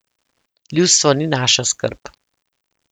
Ljudstvo ni naša skrb.